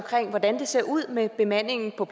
hvordan det ser ud med bemandingen på